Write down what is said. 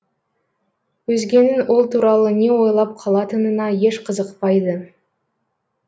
өзгенің ол туралы не ойлап қалатынына еш қызықпайды